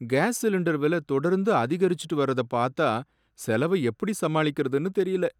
Case cylinder விலை தொடர்ந்து அதிகரிச்சிட்டு வர்றத பாத்தா செலவ எப்பிடி சமாளிக்கறதுனு தெரியல.